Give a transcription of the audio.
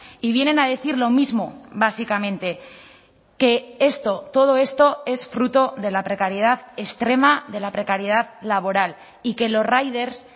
y vienen a decir lo mismo básicamente que esto todo esto es fruto de la precariedad extrema de la precariedad laboral y que los riders